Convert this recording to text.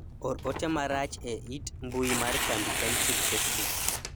or ote marach e it mbui mar kambi kenchic facebook